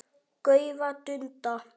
gaufa, dunda.